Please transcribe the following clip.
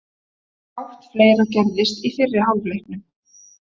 Fátt fleira gerðist í fyrri hálfleiknum.